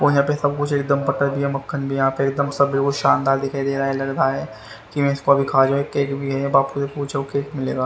और यहां पे सब कुछ एकदम बटर भी है मक्खन भी है यहां पे सब बिल्कुल शानदार दिखाई दे रहा है लग रहा है केक भी है बापू से पूछो केक भी मिलेगा।